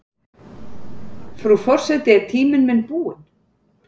Frú forseti er tíminn minn búinn?